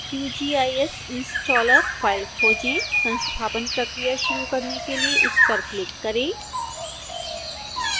qgis installer file खोजें संस्थापन प्रक्रिया शुरू करने के लिए इस पर क्लिक करें